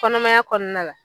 Kɔnɔmaya kɔnɔna la